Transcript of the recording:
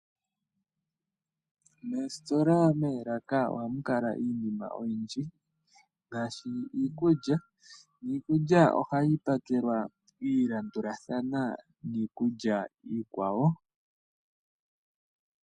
Moositola, moolaka ohamu kala iinima oyindji ngaashi iikulya niikulya ohayi pakelwa ya landulathana niikulya iikwawo.